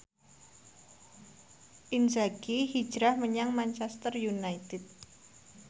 Inzaghi hijrah menyang Manchester united